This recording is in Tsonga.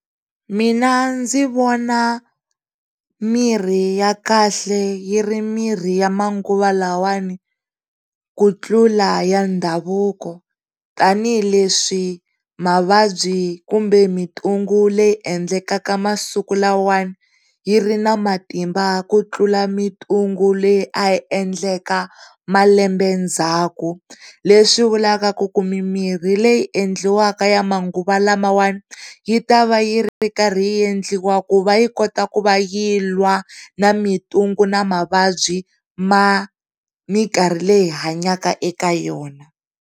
Mina ndzi vona mirhi ya kahle yi ri mirhi ya manguva lawawani ku tlula ya ndhavuko tanihileswi mavabyi kumbe mintungu leyi endlekakamasiku lawawani yi ri matimba ku tlula mitungu leyi a yiendleka malembe ndzhaku leswi vulaka ku ku mirhi leyi endliwaka ya manguva lawawani yi va yi ri karhi yiendliwa ku va yi kota ku va yilwa na mintungu na mavabyi ya mikarhi leyi hi hanyaka eka yona.